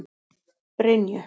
Brynju